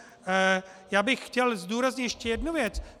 Já bych chtěl zdůraznit ještě jednu věc.